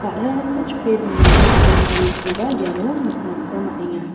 ba·rarangko chipe donani almarikoba iano nikna gita man·enga.